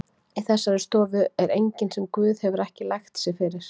Í þessari stofu er enginn sem Guð hefur ekki lægt sig fyrir.